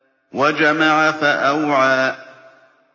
وَجَمَعَ فَأَوْعَىٰ